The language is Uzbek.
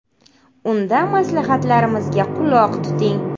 Unda maslahatlarimizga quloq tuting!